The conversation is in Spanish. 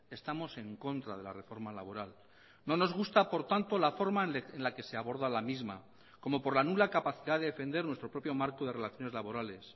estamos en contra de la reforma laboral no nos gusta por tanto la forma en la que se aborda la misma como por la nula capacidad de defender nuestro propio marco de relaciones laborales